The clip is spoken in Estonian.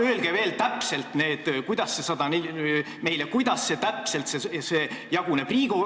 Olge nii kena ja öelge täpselt, kuidas see jaguneb.